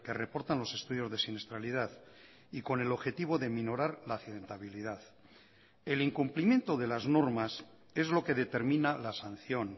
reportan los estudios de siniestralidad y con el objetivo de minorar la accidentabilidad el incumplimiento de las normas es lo que determina la sanción